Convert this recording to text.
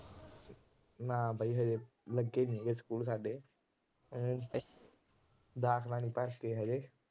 ਨਾ ਬਾਈ, ਹਾਲੇ ਲੱਗੇ ਨੀ ਹੈਗੇ ਸਕੂਲ ਸਾਡੇ। ਦਾਖਲਾ ਨੀ ਭਰੇ ਹਾਲੇ।